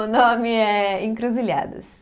O nome é Encruzilhadas.